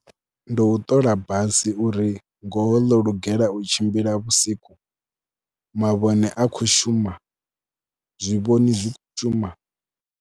Ndi u ṱola basi uri ngoho ḽo lugela u tshimbila vhusiku, mavhone a khou shuma, zwivhoni zwi khou shuma.